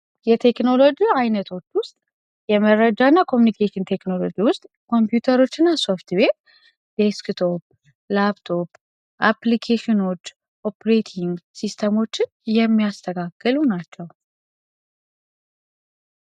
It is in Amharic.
የቴክኖሎጂ አይነቶች ውስጥ የመረጃ እና ኮሚኒኬሽን ቴክኖሎጂ ውስጥ ኮምፒዩተሮች እና ሶፍትዌር ፣ዴስክቶፕ፣ ላፕቶፕ አፕሊኬሽኖች ኦፕሬቲንግ ሲስተሞች የሚያስተካክሉ ናቸው።